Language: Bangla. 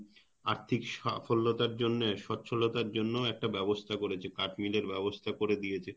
আর্থিক সাফল্যতার জন্যে সচ্ছলতার জন্য একটা ব্যবস্থা করেছে কাঠ মিলের ব্যবস্থা করে দিয়েছে